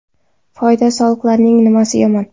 Foyda soliqlarining nimasi yomon?